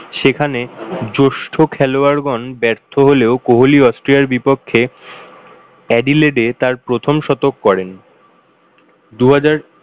সেখানে জোষ্ঠ খেলোয়াড় গণ ব্যর্থ হলেও কোহলি অস্ট্রিয়ার বিপক্ষে এডিলেটে তার প্রথম শতক করেন। দুহাজার